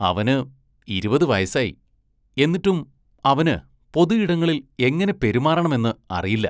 അവന് ഇരുപത് വയസ്സായി, എന്നിട്ടും അവന് പൊതുയിടങ്ങളില്‍ എങ്ങനെ പെരുമാറണമെന്ന് അറിയില്ല.